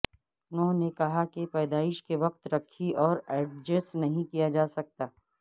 انہوں نے کہا کہ پیدائش کے وقت رکھی اور ایڈجسٹ نہیں کیا جا سکتا